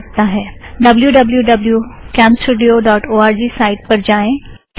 W W W dot CamStudio dot O R G site पर जाएं